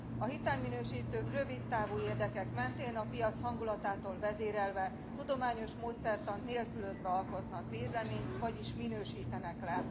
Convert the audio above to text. A hitelminősítők rövid távú érdekek mentén a piac hangulatától vezérelve, tudományos módszertant nélkülözve alkotnak véleményt, vagyis minősítenek le.